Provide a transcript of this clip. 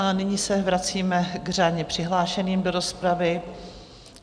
A nyní se vracíme k řádně přihlášeným do rozpravy.